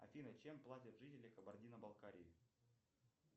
афина чем платят жители кабардино балкарии